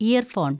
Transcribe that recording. year‍ phone‍